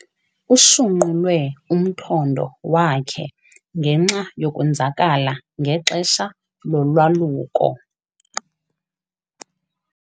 Ushunqulwe umthondo wakhe ngenxa yokwenzakala ngexesha lolwaluko.